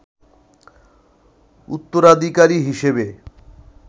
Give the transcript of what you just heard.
উত্তরাধিকারী হিসেবে